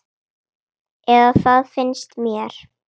Eða það finnst mér.